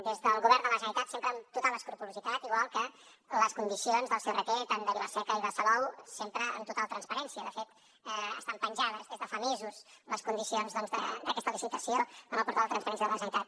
des del govern de la generalitat sempre amb total escrupolositat igual que les condicions del crt tant de vila seca i de salou sempre amb total transparència de fet estan penjades des de fa mesos les condicions d’aquesta licitació en el portal de transparència de la generalitat